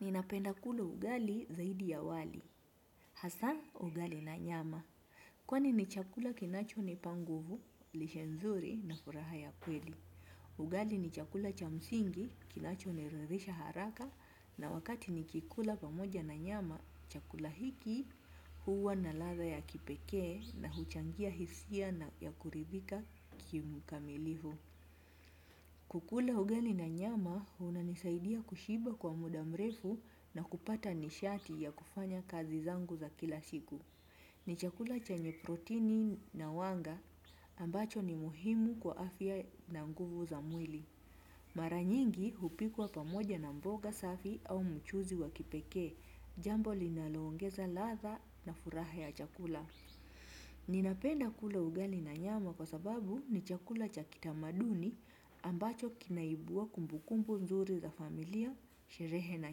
Ninapenda kula ugali zaidi ya wali. Hasa ugali na nyama. Kwani ni chakula kinachonipa nguvu, lishe nzuri na furaha ya kweli. Ugali ni chakula cha msingi kinachoniridhisha haraka na wakati nikikula pamoja na nyama, chakula hiki huwa na ladha ya kipekee na huchangia hisia na ya kuribika kimu kamilivu. Kukula ugali na nyama unanisaidia kushiba kwa muda mrefu na kupata nishati ya kufanya kazi zangu za kila siku. Ni chakula chenye protini na wanga ambacho ni muhimu kwa afya na nguvu za mwili. Mara nyingi hupikwa pamoja na mboga safi au mchuzi wa kipekee jambo linaloongeza ladha na furaha ya chakula. Ninapenda kula ugali na nyama kwa sababu ni chakula cha kitamaduni ambacho kinaibua kumbukumbu nzuri za familia, sherehe na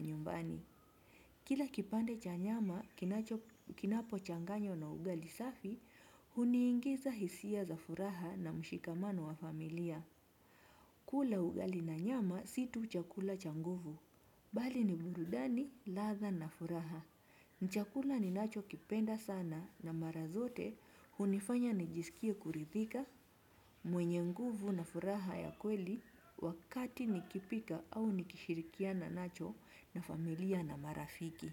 nyumbani. Kila kipande cha nyama kinapochanganywa na ugali safi, huniingiza hisia za furaha na mshikamano wa familia. Kula ugali na nyama si tu chakula cha nguvu, bali ni burudani, ladha na furaha. Ni chakula ninachokipenda sana na mara zote hunifanya nijisikie kuridhika mwenye nguvu na furaha ya kweli wakati nikipika au nikishirikiana nacho na familia na marafiki.